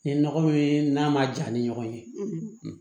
Ye nɔgɔ min ye n'a ma ja ni ɲɔgɔn ye